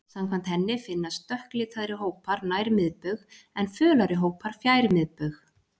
Samkvæmt henni finnast dökklitaðri hópar nær miðbaug, en fölari hópar fjær miðbaug.